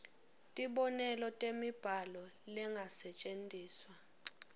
tibonelo temibhalo lengasetjentiswa